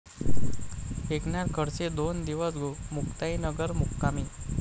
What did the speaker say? एकनाथ खडसे दोन दिवस मुक्ताईनगर मुक्कामी